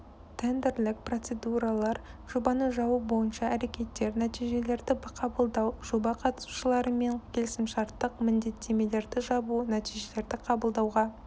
тендерлік процедуралар жобаны жабу бойынша әрекеттер нәтижелерді қабылдау жоба қатысушыларымен келісімшарттық міндеттемелерді жабу нәтижелерді қабылдауға